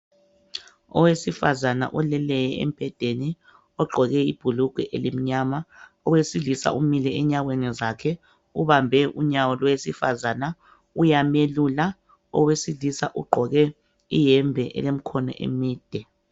owesifazana oleleyo embhedeni ogqoke ibhulugwa elimnyama owesilisa umile enyaweni zakhe ubambe unyawo lowesifazana uyamelula owesilisa ugqoke iyembe elemkhono emide